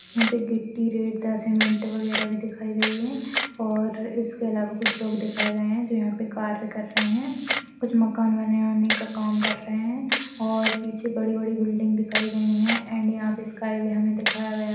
यहाँ पर गिट्टी रेतदा सीमेंट वगैरह भी दिखाई गयी है और इसके अलावा कुछ लोग दिखाए गए है जो यहाँ पे कार्य कर रहे है कुछ मकान बनाने का काम रहे हैं और पीछे बड़ी -बड़ी बिल्डिंग दिखाई गयी है एण्ड यहाँ पे स्काई भी हमें दिखाया गया--